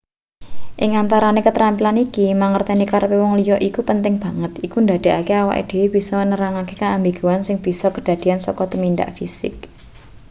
ing antarane ketrampilan iki mangerteni karepe wong liya iku penting banget iku ndadekake awake dhewe bisa nerangake keambiguan sing bisa kadadean saka tumindak fisik